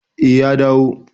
Eh, ya dawo